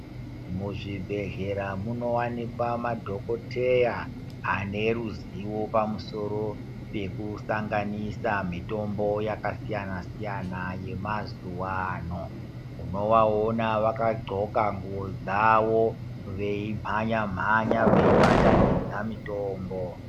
Muzvibhedhlera munowanikwa madhokoteya ane ruziwo pamusoro pekusanganisa mitombo yakasiyana-siyana yemazuwano. Unovaona vakadxoka nguwo dzawo veimhanya-mhanya veibatanidza mitombo.